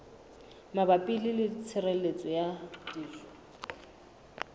mabapi le tshireletso ya dijo